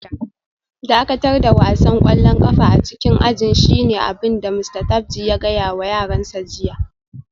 Dakatar da wasan kwallon kafa a cikin ajin shine abin da Mista Tapji ya gaya wa yaransa jiya